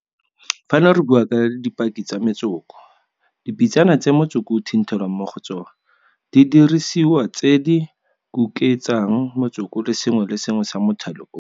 Fano re bua ka dipaki tsa metsoko, dipitsana tse motsoko o thinthelwang mo go tsona, didirisiwa tse di kuketsang motsoko le sengwe le sengwe sa mothale ono.